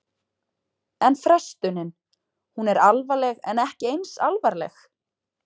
En frestunin, hún er alvarleg en ekki eins alvarleg?